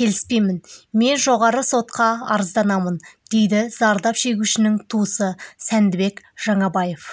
келіспеймін мен жоғары сотқа арызданамын дейді зардап шегушінің туысы сәндібек жаңабаев